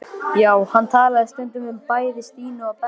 Já, hann talaði stundum um bæði Stínu og Benna.